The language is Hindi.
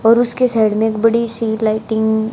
और उसके साइड में एक बड़ी सी लाइटिंग --